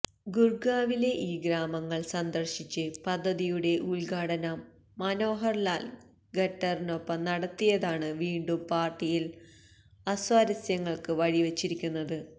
ഗുര്ഗാവിലെ ഈ ഗ്രാമങ്ങള് സന്ദര്ശിച്ച് പദ്ധതിയുടെ ഉദ്ഘാടനം മനോഹര് ലാല് ഖട്ടറിനൊപ്പം നടത്തിയതാണ് വീണ്ടും പാര്ട്ടിയില് അസ്വാരസങ്ങള്ക്ക് വഴിവെച്ചിരിക്കുന്നത്